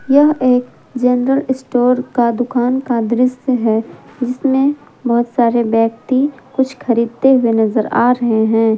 यह एक general store का दुकान का दृश्य है जिसमें बहुत सारे व्यक्ति कुछ खरीदते हुए नजर आ रहे हैं।